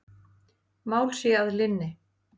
Mál sé að linni.